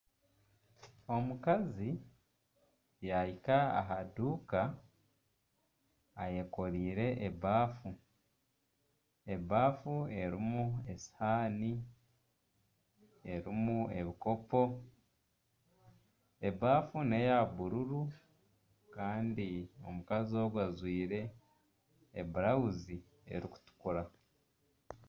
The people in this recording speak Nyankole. Omukazi yaahika aha duuka ayekoreire ebaafu. Ebaafu erimu esihaani, erimu ebikopo. Ebafu n'eya bururu. Kandi omukazi ogwe ajwaire eburawuzi erikutukura.